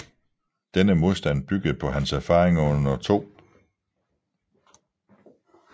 Denne modstand byggede på hans erfaringer under 2